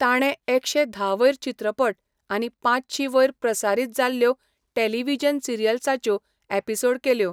ताणें एकशें धा वयर चित्रपट आनी पांचशीं वयर प्रसारीत जाल्ल्यो टॅलिव्हिजन सिरियल्साच्यो एपिसोड केल्यो.